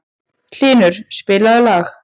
Hylur, spilaðu lag.